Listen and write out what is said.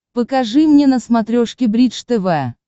покажи мне на смотрешке бридж тв